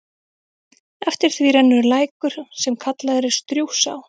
Eftir því rennur lækur, sem kallaður er Strjúgsá.